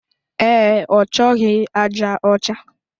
Ee, ọchọghi aja ọcha